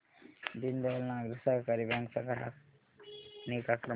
Deendayal Nagari Sahakari bank चा ग्राहक निगा क्रमांक